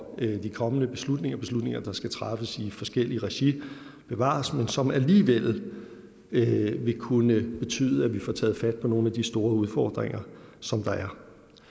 de kommende beslutninger beslutninger der skal træffes i forskelligt regi bevares men som alligevel vil vil kunne betyde at vi får taget fat på nogle af de store udfordringer som der er